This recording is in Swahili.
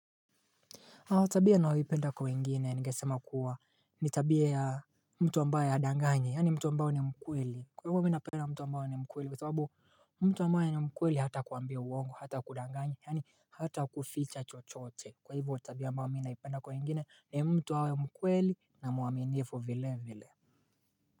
Tabia nayoipenda kwa wengine ningesema kuwa ni tabia ya mtu ambaye hadanganyi. Yaani mtu ambaye ni mkweli. Kwa hivyo mi napenda mtu ambaye ni mkweli kwa sababu mtu ambaye ni mkweli hatakuambia uongo hata kudanganya yaani hata kuficha chochote. Kwa hivyo tabia ambayo mi naipenda kwa wengine ni mtu awe mkweli na mwaminifu vile vile.